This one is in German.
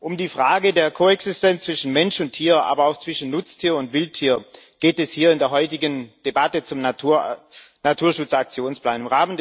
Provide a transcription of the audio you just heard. Um die Frage der Koexistenz zwischen Mensch und Tier, aber auch zwischen Nutztier und Wildtier geht es hier in der heutigen Debatte zum Naturschutz Aktionsplan.